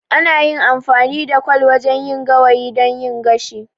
Ana yin amfani da kwal wajen yin gawayi don yin gashi.